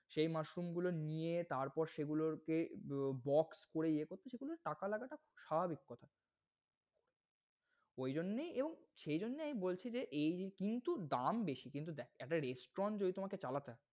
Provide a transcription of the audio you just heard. সেই mushroom নিয়ে তারপর সেগুলোরকে box করে ইয়ে করতে টাকা লাগাটা স্বাভাবিক কথা। ঐ জন্যেই এবং সেই জন্যই আমি বলছি যে এইযে কিন্তু দাম বেশি। কিন্তু দেখ একটা restaurant যদি তোমাকে চালাতে হয়,